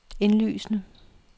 indlysende